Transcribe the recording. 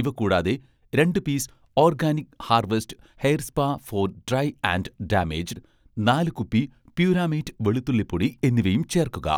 ഇവ കൂടാതെ, രണ്ട് piece 'Organic Harvest' hair spa for dry and damage , നാല് കുപ്പി 'പ്യുരാമേറ്റ്' വെളുത്തുള്ളി പൊടി എന്നിവയും ചേർക്കുക.